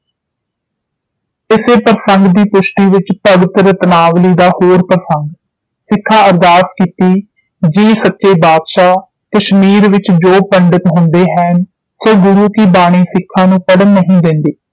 ਇਸੇ ਪ੍ਰਸੰਗ ਦੀ ਪੁਸ਼ਟੀ ਵਿਚ ਭਗਤ ਰਤਨਾਵਲੀ ਦਾ ਹੋਰ ਪ੍ਰਸੰਗ ਸਿੱਖਾਂ ਅਰਦਾਸ ਕੀਤੀ ਜੀ ਸੱਚੇ ਬਾਦਸ਼ਾਹ ਕਸ਼ਮੀਰ ਵਿਚ ਜੋ ਪੀੜਤ ਹੁੰਦੇ ਹੈਨਿ ਸੌ ਗੁਰੂ ਕੀ ਬਾਣੀ ਸਿੱਖਾਂ ਨੂੰ ਪੜ੍ਹਨ ਨਹੀਂ ਦੇਂਦੇ